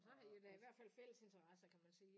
Men så har I jo da i hvert fald fælles interesser kan man sige